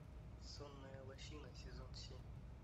сонная лощина сезон семь